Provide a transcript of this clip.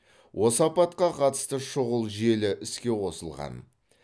осы апатқа қатысты шұғыл желі іске қосылған